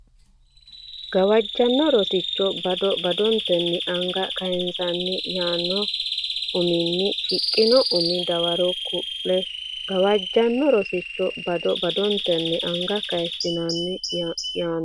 Gawajjanno Rosicho bado badotenni anga kayissinanni yaanno uminni shiqqino umi dawaro kulle e Gawajjanno Rosicho bado badotenni anga kayissinanni yaanno.